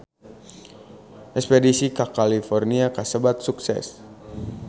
Espedisi ka California kasebat sukses